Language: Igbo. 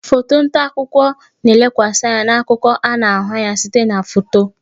Foto nta akụkọ na-elekwasị anya na akụkọ a na-ahụ anya site na foto